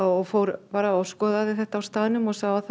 og fór bara og skoðaði þetta á staðnum og sá að það